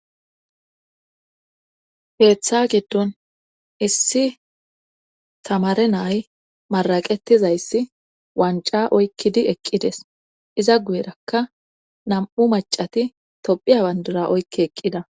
Keeththa giddon issi tamare nay maraqettizayssi wanca oykkidi eqqides iza guyerakka nam7u macati tophiya bandura oykke eqqida